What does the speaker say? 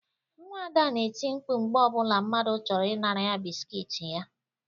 Nwa Ada na-eti mkpu mgbe ọbụla mmadụ chọrọ ị nara ya biskuit ya